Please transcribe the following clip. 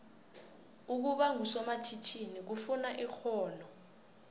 ukuba ngusomatjhinini kufuna ixhono